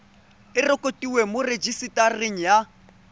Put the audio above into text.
e rekotiwe mo rejisetareng ya